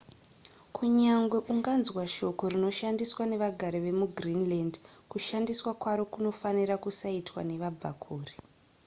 kunyange unganzwa shoko rinoshandiswa nevagari vemugreenland kushandiswa kwaro kunofanira kusaitwa nevabvakure